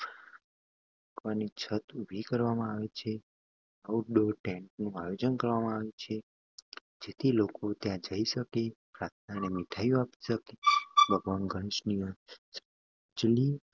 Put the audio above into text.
છત્ર ઉભી કરવામાં આવે છે. આઉટડોર ટેન્ટનું આયોજન કરવામાં આવે છે જેથી લોકો ત્યાં જઈ શકે અને પ્રાર્થના અને મીઠાઈઓ આપીને ભગવાન ગણેશને અંજલિ આપી શકે અને ભગવાન ગણેશના આશીર્વાદ તરીકે પ્રસાદ મેળવી શકે.